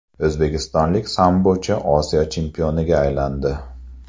O‘zbekistonlik sambochi Osiyo chempioniga aylandi.